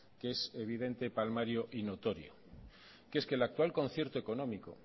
que es evidente palmario y notorio que es que el actual concierto económico